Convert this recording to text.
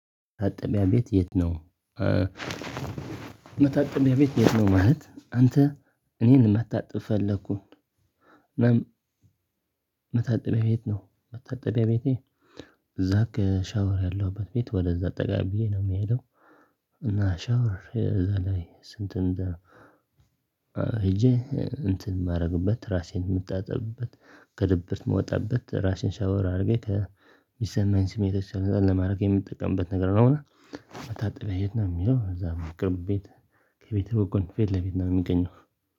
መታጠቢያ ቤት የት ነው? መታጠቢያ ቤት የት ነው ማለት አንተ እኔን መታጠብ ፈለኩኝ መታጠቢያ ቤት ነው መታጠቢያ ቤቴ እዛ ከሻወር ያለሁበት ቤት ወደዛ ጠጋ ብዬ ነው የሚሄደው እና ሻወር እዛ ላይ ስንት ሄጄ እንትን የማደርግበት ራሴን የምታጠብበት ከድብርት የምወጣበት ራሴን ሻወር አድርጌ ከሚሰማኝ ስሜቶች ነጣ ለማድረግ የምጠቀምበት ነገር ነው እና አሁን መታጠቢያ የት ነው የሚለው እዛ ቅርብ ቤት ከቤቴ በጎን ፊት ለፊት ነው የሚገኘው፤